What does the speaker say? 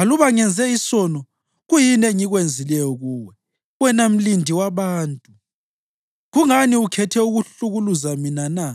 Aluba ngenze isono, kuyini engikwenzileyo kuwe, wena mlindi wabantu? Kungani ukhethe ukuhlukuluza mina na?